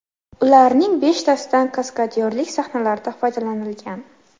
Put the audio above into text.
Ularning beshtasidan kaskadyorlik sahnalarida foydalanilgan.